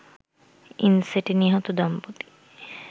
ইনসেটে নিহত দম্পতি